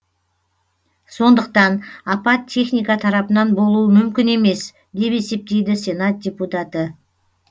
сондықтан апат техника тарапынан болуы мүмкін емес деп есептейді сенат депутаты